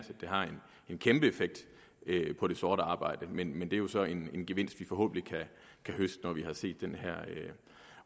det har en kæmpe effekt på det sorte arbejde men det er jo så en gevinst vi forhåbentlig kan høste når vi har set den her